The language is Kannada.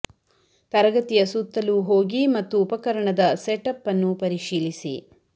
ತರಗತಿಯ ಸುತ್ತಲೂ ಹೋಗಿ ಮತ್ತು ಉಪಕರಣದ ಸೆಟ್ ಅಪ್ ಅನ್ನು ಪರಿಶೀಲಿಸಿ